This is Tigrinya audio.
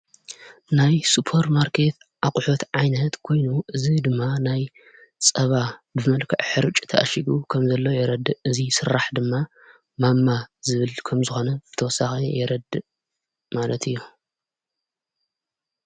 ናይ ሱጶር ማርከት ኣቝሑት ዓይነት ጐይኑ እዝ ድማ ናይ ጸባ ብመልከ ኅርጭ ተኣሽጉ ከም ዘለዉ የረድ እዙይ ሥራሕ ድማ ማማ ዝብል ከም ዝኾነ ብተወሳኻ የረድ ማለት እዩ።